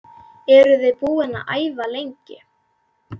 Eruð þið búin að æfa lengi?